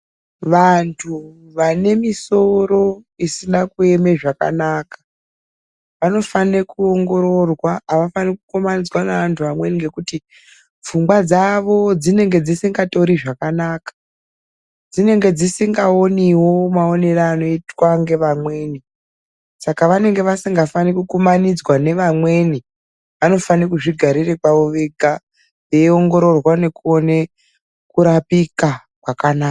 Vantu vane misoro isina kuema zvakanaka vanofanira kuongororwa. Avafaniri kukamaniswa nevantu amweni ngekuti pfungwa dzavo dzinenge dzisingatori zvakanaka .Dzinenge dzisingaoniwo maonere anoitwa ngevamweni . Saka vanenge vasingafaniri kukumanidzwa nevamweni. Vanofanira kudzigarira kwavo vega veiongororwa vaone kurapika kwakanaka.